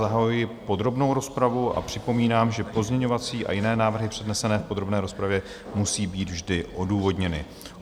Zahajuji podrobnou rozpravu a připomínám, že pozměňovací a jiné návrhy přednesené v podrobné rozpravě musí být vždy odůvodněny.